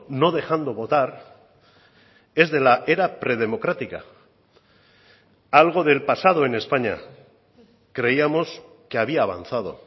no dejando votar es de la era pre democrática algo del pasado en españa creíamos que había avanzado